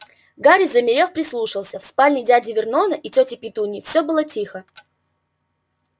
гарри замерев прислушался в спальне дяди вернона и тёти петуньи все было тихо